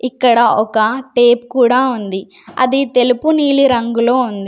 ఇక్కడ ఒక టేపు కూడా ఉంది అది తెలుపు నీలి రంగులో ఉంది.